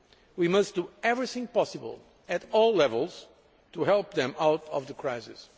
We must do everything possible, at all levels, to help them out of the crisis.